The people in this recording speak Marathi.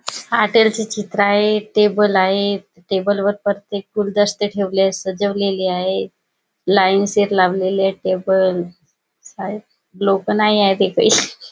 हॉटेल चे चित्र आहे टेबल आहेत टेबल वर प्रत्येक गुलदस्ते ठेवले सजवलेले आहेत लाइन शिर लावलेले आहेत. टेबल शायद लोक नाही आहेत एकही--